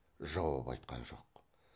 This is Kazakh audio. жауап айтқан жоқ